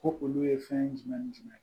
Ko olu ye fɛn jumɛn ni jumɛn